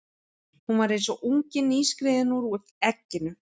Hún var eins og ungi nýskriðinn úr egginu.